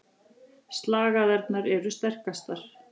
Slagæðarnar eru sterkastar.